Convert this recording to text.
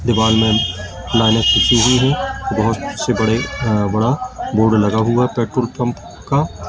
दीवाल में मैने बहोत से बड़े अ बड़ा बोर्ड लगा हुआ पेट्रोल पंप का--